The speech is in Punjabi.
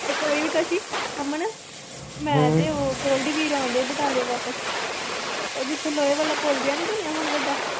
ਇੱਕ ਵਾਰੀ ਵੀ ਕਾਸੀ ਅਮਨ ਮੈਂ ਤੇ ਉਹ ਗੋਲਡੀ ਵੀਰ ਆਉਂਦੇ ਸੀ ਬਟਾਲਿਓ ਵਾਪਸ ਉਹ ਜਿੱਥੇ ਲੋਹੇ ਵਾਲਾ ਪੁੱਲ ਜਿਹਾ ਨੀ ਬਣਿਆ ਹੁਣ ਵੱਡਾ।